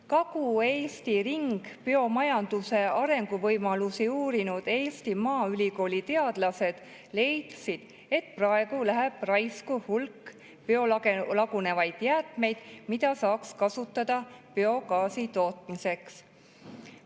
Kagu-Eesti ringbiomajanduse arenguvõimalusi uurinud Eesti Maaülikooli teadlased leidsid, et praegu läheb raisku hulk biolagunevaid jäätmeid, mida saaks kasutada biogaasi tootmiseks.